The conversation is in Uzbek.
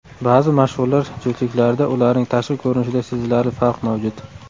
Ba’zi mashhurlar juftliklarida ularning tashqi ko‘rinishida sezilarli farq mavjud.